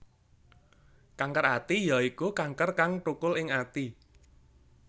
Kanker ati ya iku kanker kang thukul ing ati